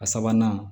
A sabanan